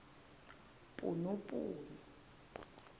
punupunu